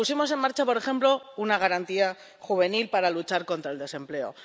Pero pusimos en marcha, por ejemplo, una Garantía Juvenil para luchar contra el desempleo.